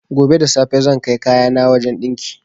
Gobe da safe zan kai kayana wajan ɗinki